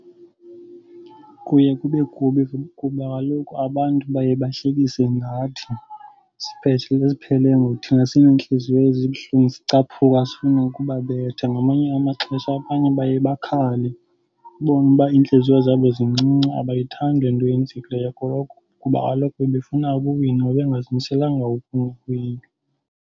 Kuye kube kubi kuba kaloku abantu baye bahlekise ngathi siphele ke ngoku thina sinentliziyo ezibuhlungu sicaphuka sifuna ukubabetha. Ngamanye amaxesha abanye baye bakhale, ubone uba iintliziyo zabo zincinci abayithandi le nto yenzekileyo ngoko kuba kaloku bebefuna ukuwina, bebengazimiselanga ngokufeyila.